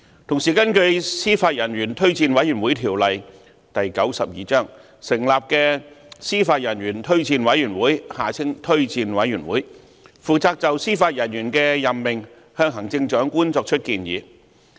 同時，根據《司法人員推薦委員會條例》成立的司法人員推薦委員會，負責就司法人員的任命向行政長官作出建議。